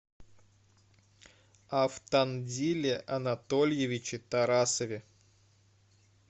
автандиле анатольевиче тарасове